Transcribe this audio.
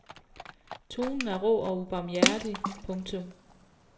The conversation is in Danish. Tonen er rå og ubarmhjertig. punktum